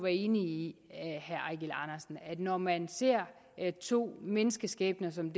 enige i at når man ser to menneskeskæbner som